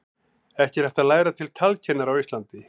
ekki er hægt að læra til talkennara á íslandi